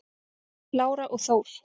Lára og Þór.